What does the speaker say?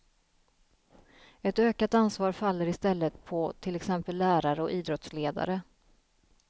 Ett ökat ansvar faller istället på till exempel lärare och idrottsledare.